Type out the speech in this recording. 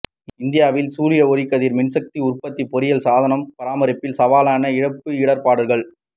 இந்தியாவில் சூரிய ஒளிக்கதிர் மின்சக்தி உற்பத்தி பொறியியல் சாதனப் பராமரிப்பில் சவாலான இழப்பு இடர்ப்பாடுகள்